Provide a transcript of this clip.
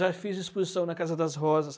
Já fiz exposição na Casa das Rosas.